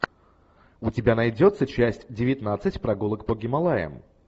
у тебя найдется часть девятнадцать прогулок по гималаям